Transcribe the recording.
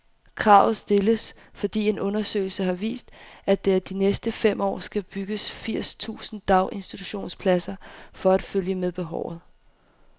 Kravet stilles, fordi en undersøgelse har vist, at der de næste fem år skal bygges firs tusind daginstitutionspladser for at følge med behovet.